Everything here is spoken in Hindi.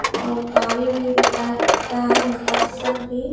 और गाड़ी भी दिखाई पड़ता है घर सब भी --